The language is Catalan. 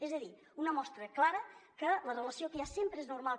és a dir una mostra clara que la relació que hi ha sempre és normal